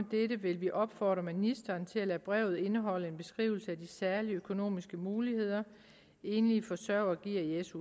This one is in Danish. dette vil vi opfordre ministeren til at lade brevet indeholde en beskrivelse af de særlige økonomiske muligheder enlige forsørgere gives